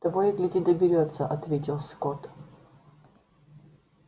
того и гляди доберётся ответил скотт